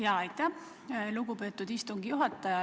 Jaa, aitäh, lugupeetud istungi juhataja!